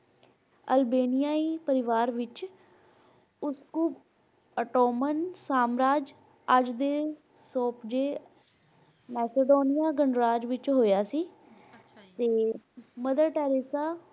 ਅਲਬੇਨੀਐ ਪਰਿਵਾਰ ਵਿਚ ਕੁੱਕੂ ਐਟਮਾਂ ਸਾਮਰਾਜ ਅੱਜ ਦੇ Macedonia ਗਣਰਾਜ ਵਿਚ ਹੋਇਆ ਸੀ ਤੇ Mother Teressa